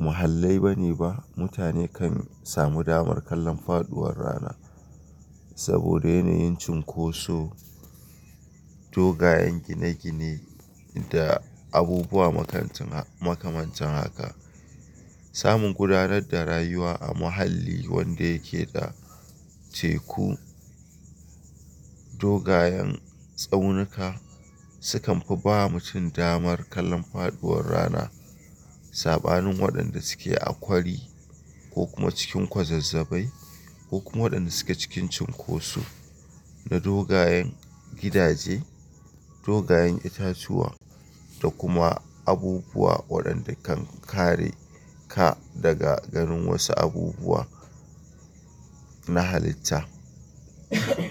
muhallai bane ba mutane kan samu damar kallon faduwar rana. Saboda yanayin cunkoso, dogayen gine-gine da abubuwa makamancin haka. Samun gudanar da rayuwa a muhalli wanda yake da teku, dogayen tsaunuka sukanfi bawa mutum damar kallon faduwar rana saɓanin waɗanda suke a kwari ko kuma cikin kwazazzabai ko kuma waɗanda suke cikin cunkosu na dogayen gidaje, dogayen itatuwa da kuma abubuwa waɗanda kan kare ka daga ganin wasu abubuwa na halitta.